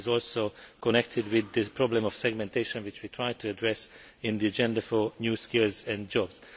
This is also connected with the problem of segmentation, which we tried to address in the Agenda for New Skills and Jobs.